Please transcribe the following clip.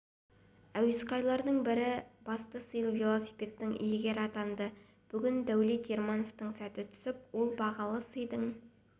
әуесқойлардың бірі басты сый велосипедтің иегері атанды бүгін дәулет ермановтың сәті түсіп ол бағалы сыйдың